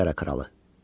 İngiltərə kralı.